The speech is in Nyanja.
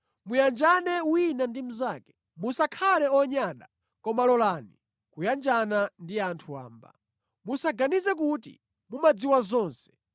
Muyanjane wina ndi mnzake. Musakhale onyada, koma lolani kuyanjana ndi anthu wamba. Musaganize kuti mumadziwa zonse.